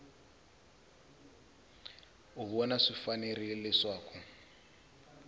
u vona swi fanerile leswaku